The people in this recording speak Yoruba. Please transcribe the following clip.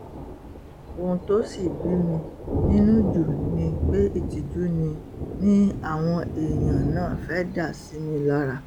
ohun tó sì bí mi nínú jù ni pé ìtìjú ni ni àwọn èèyàn náà fẹ́ẹ́ dá sí mi lára